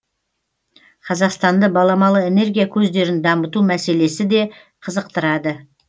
қазақстанды баламалы энергия көздерін дамыту мәселесі де қызықтырады